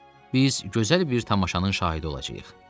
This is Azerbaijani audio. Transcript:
Biz gözəl bir tamaşanın şahidi olacağıq.